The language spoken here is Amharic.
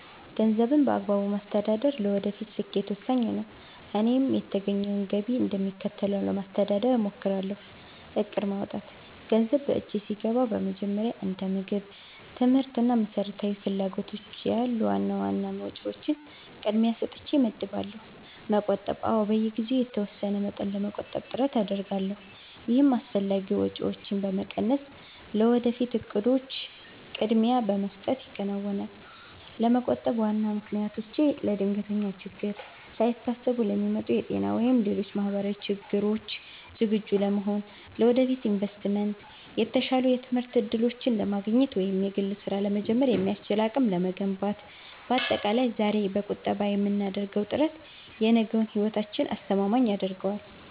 ገንዘብን በአግባቡ ማስተዳደር ለወደፊት ስኬት ወሳኝ ነው፤ እኔም የተገኘውን ገቢ እንደሚከተለው ለማስተዳደር እሞክራለሁ፦ እቅድ ማውጣት፦ ገንዘብ በእጄ ሲገባ መጀመሪያ እንደ ምግብ፣ ትምህርት እና መሰረታዊ ፍላጎቶች ያሉ ዋና ዋና ወጪዎችን ቅድሚያ ሰጥቼ እመድባለሁ። መቆጠብ፦ አዎ፣ በየጊዜው የተወሰነ መጠን ለመቆጠብ ጥረት አደርጋለሁ። ይህም አላስፈላጊ ወጪዎችን በመቀነስና ለወደፊት እቅዶች ቅድሚያ በመስጠት ይከናወናል። ለመቆጠብ ዋና ምክንያቶቼ፦ ለድንገተኛ ችግሮች፦ ሳይታሰቡ ለሚመጡ የጤና ወይም ሌሎች ማህበራዊ ችግሮች ዝግጁ ለመሆን። ለወደፊት ኢንቨስትመንት፦ የተሻሉ የትምህርት እድሎችን ለማግኘት ወይም የግል ስራ ለመጀመር የሚያስችል አቅም ለመገንባት። ባጠቃላይ፣ ዛሬ በቁጠባ የምናደርገው ጥረት የነገውን ህይወታችንን አስተማማኝ ያደርገዋል።